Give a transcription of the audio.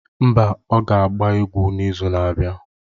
Mba, ọ ga-agba egwu n'izu na-abịa.